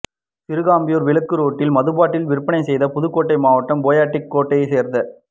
சிறுகம்பையூர் விலக்கு ரோட்டில் மதுபாட்டில்கள் விற்பனை செய்த புதுக்கோட்டை மாவட்டம் பேயாடிக்கோட்டையை சேர்ந்த